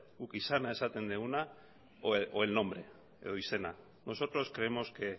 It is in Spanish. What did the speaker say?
guk izana esaten duguna o el nombre edo izena nosotros creemos que